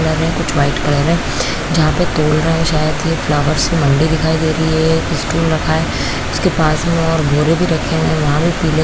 लग रहा है कुछ वाइट कलर है जहाँ पे तौल रहे है शायद ये फ्लावर्स की मंडी दिखाई दे रही है एक स्टूल रखा है उसके पास में कुछ बोरे भी रखे हुए है वह भी --